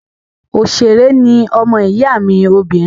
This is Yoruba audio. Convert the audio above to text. Òṣèré ní ọmọ ìyá mi obìnrin